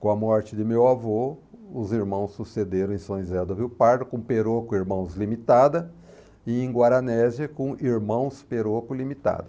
Com a morte de meu avô, os irmãos sucederam em São José do Rio Pardo com Perocco Irmãos Limitada e em Guaranésia com Irmãos Perocco Limitada.